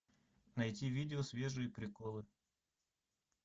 найти видео свежие приколы